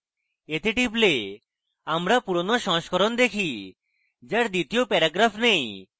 এতে টিপলে আমরা পুরোনো সংস্করণ দেখি যার দ্বিতীয় প্যারাগ্রাফ নেই